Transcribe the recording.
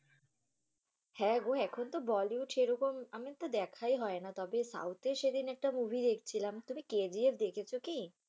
হ্যাঁ গো এখন তো bollywood সেরকম আমি তো দেখাই হয় না, তবে south এর সেদিন একটা movie দেখছিলাম। তুমি KGF দেখেছো কী?